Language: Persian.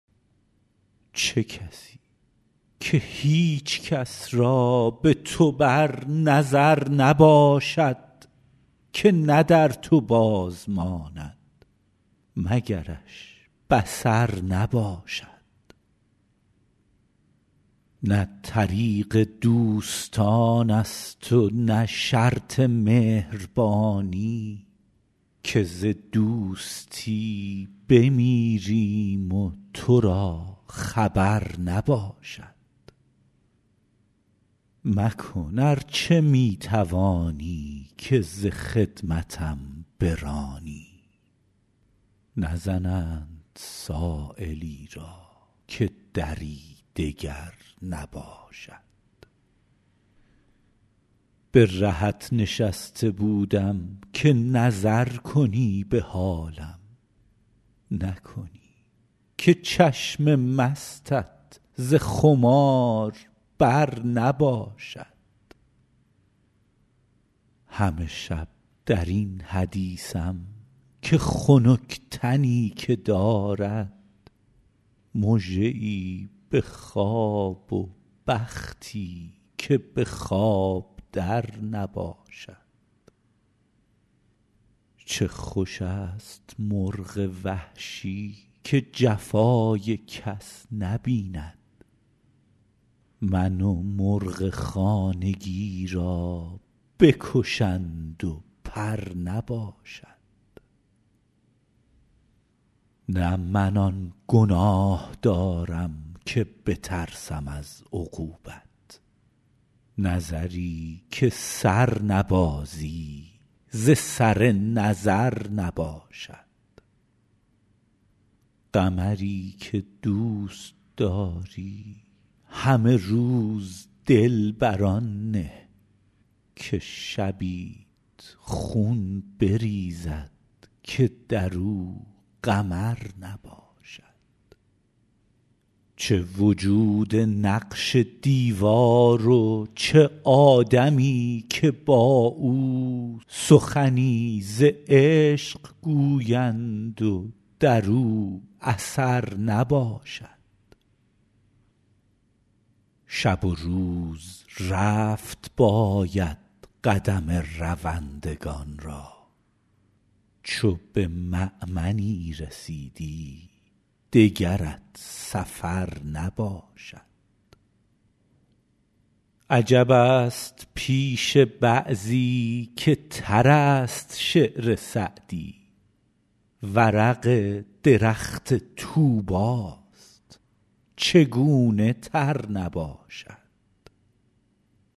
چه کسی که هیچ کس را به تو بر نظر نباشد که نه در تو باز ماند مگرش بصر نباشد نه طریق دوستان است و نه شرط مهربانی که ز دوستی بمیریم و تو را خبر نباشد مکن ار چه می توانی که ز خدمتم برانی نزنند سایلی را که دری دگر نباشد به رهت نشسته بودم که نظر کنی به حالم نکنی که چشم مستت ز خمار بر نباشد همه شب در این حدیثم که خنک تنی که دارد مژه ای به خواب و بختی که به خواب در نباشد چه خوش است مرغ وحشی که جفای کس نبیند من و مرغ خانگی را بکشند و پر نباشد نه من آن گناه دارم که بترسم از عقوبت نظری که سر نبازی ز سر نظر نباشد قمری که دوست داری همه روز دل بر آن نه که شبیت خون بریزد که در او قمر نباشد چه وجود نقش دیوار و چه آدمی که با او سخنی ز عشق گویند و در او اثر نباشد شب و روز رفت باید قدم روندگان را چو به مأمنی رسیدی دگرت سفر نباشد عجب است پیش بعضی که تر است شعر سعدی ورق درخت طوبی ست چگونه تر نباشد